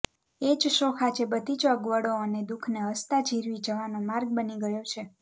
એજ શોખ આજે બધીજ અગવડો અને દુઃખને હસતા જીરવી જવાનો માર્ગ બની ગયો છે